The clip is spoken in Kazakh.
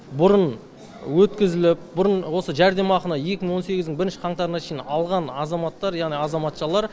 бұрын өткізіліп бұрын осы жәрдемақыны екі мың он сегіздің бірінші қаңтарына шейін алған азаматтар яғни азаматшалар